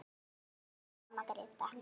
Elsku amma Gréta.